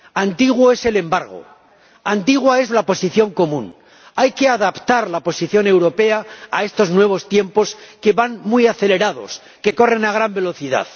Antiguo es el embargo, antigua es la Posición Común. Hay que adaptar la posición europea a estos nuevos tiempos, que van muy acelerados, que corren a gran velocidad.